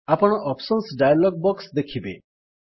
ଆପଣ options dialog box ଦେଖିବେ